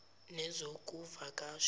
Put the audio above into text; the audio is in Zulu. nezokuvakasha